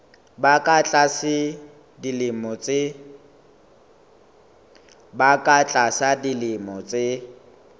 ba ka tlasa dilemo tse